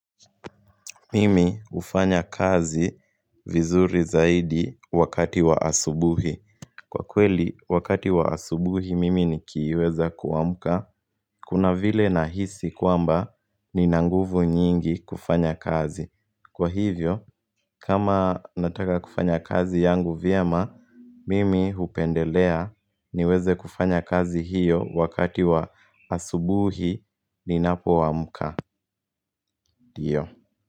Mimi hufanya kazi vizuri zaidi wakati wa asubuhi. Kwa kweli wakati wa asubuhi mimi nikiweza kuamka Kuna vile nahisi kwamba nina nguvu nyingi kufanya kazi, kwa hivyo kama nataka kufanya kazi yangu vyema Mimi hupendelea niweze kufanya kazi hiyo wakati wa asubuhi ninapo amka ndio.